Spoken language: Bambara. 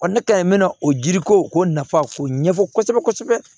ne ka ɲi me na o ji ko nafa k'o ɲɛfɔ kosɛbɛ kosɛbɛ